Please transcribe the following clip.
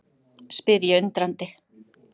spyr ég undrandi.